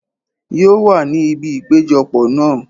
Yóò wà ní ibi ìpéjọ pọ̀ náà.